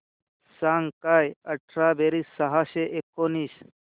सांग काय अठरा बेरीज सहाशे एकोणीस